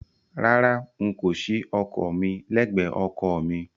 Rárá, n kò ṣí ọkọ̀ mi lẹ́gbẹ̀ẹ́ ọkọ̀ mi.